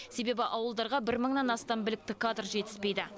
себебі ауылдарға бір мыңнан астам білікті кадр жетіспейді